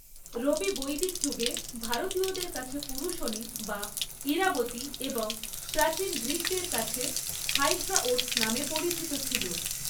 রবি বৈদিক যুগে ভারতীয়দের কাছে পুরুষনী বা ইরাবতী এবং প্রাচীন গ্রীকদের কাছে হাইড্রাওট্‌স নামে পরিচিত ছিল।